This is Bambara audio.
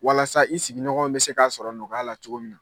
Walasa i sigiɲɔgɔnw bɛ se k'a sɔrɔ nɔgɔya la cogo min na.